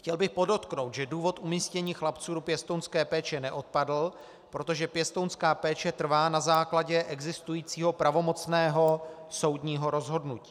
Chtěl bych podotknout, že důvod umístění chlapců do pěstounské péče neodpadl, protože pěstounská péče trvá na základě existujícího pravomocného soudního rozhodnutí.